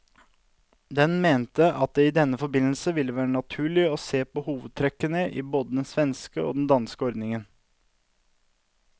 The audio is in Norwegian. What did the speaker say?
Den mente at det i denne forbindelse ville være naturlig å se på hovedtrekkene i både den svenske og den danske ordningen.